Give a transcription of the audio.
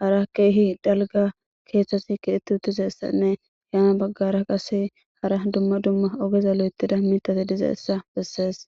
hara keehi dalga keeththasi kiheti utizeessanne yaana baggara qase hara dumma dumma ogeza lo7etida mitate diza essa bessees